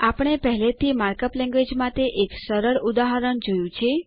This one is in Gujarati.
આપણે પહેલેથી માર્કઅપ લેન્ગવેજ માટે એક સરળ ઉદાહરણ જોયું છે